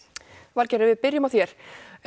Valgerður ef við byrjum á þér